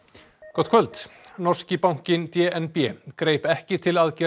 gott kvöld norski bankinn d n b greip ekki til aðgerða